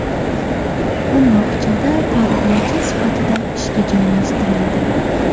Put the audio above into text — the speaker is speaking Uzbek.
U bog‘chada tarbiyachi sifatida ishga joylashtirildi.